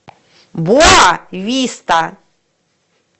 боа виста